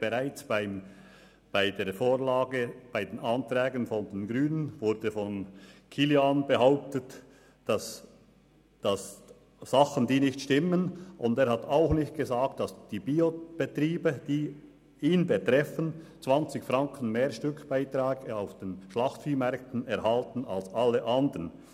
Bereits bei den Anträgen der Grünen wurden von Kilian Baumann Dinge behauptet, die nicht stimmen, und er hat als Biobauer auch nicht erwähnt, dass die Biobetriebe 20 Franken höhere Stückbeiträge auf den Schlachtviehmärkten erhalten als alle anderen.